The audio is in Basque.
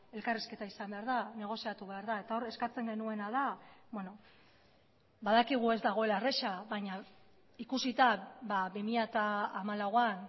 elkarrizketa izan behar da negoziatu behar da eta hor eskatzen genuena da badakigu ez dagoela erraza baina ikusita bi mila hamalauan